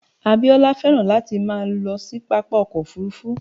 Abíọ́lá féràn láti máa lọ sí pápá ọkọ̀ Òfurufú.